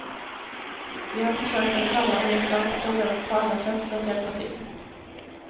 Vi har försökt att samarbeta och ställa upp på alla sätt för att hjälpa till.